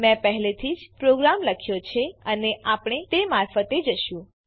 મેં પહેલેથી જ પ્રોગ્રામ લખ્યો છે અને આપણે તે મારફતે જશું